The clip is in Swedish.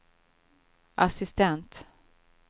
assistent